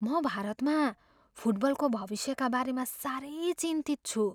म भारतमा फुटबलको भविष्यका बारेमा साह्रै चिन्तित छु।